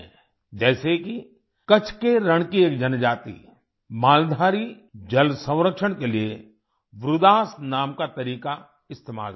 जैसे कि कच्छ के रण की एक जनजाति मालधारी जल संरक्षण के लिए वृदास नाम का तरीका इस्तेमाल करती है